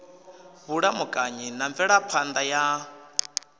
vhulamukanyi na mvelaphan ḓa ya